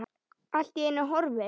Allt í einu horfin.